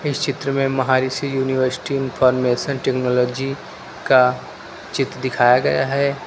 इस चित्र में महाऋषि यूनिवर्सिटी इन्फॉर्मेशन टेक्नोलॉजी का चित्र दिखाया गया है।